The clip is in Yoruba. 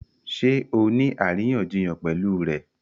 Ṣé ọ ní aríyànjiyàn pẹ̀lú rẹ̀?